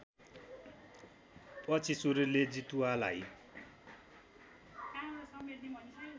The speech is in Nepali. पछि सूर्यले जितुवालाई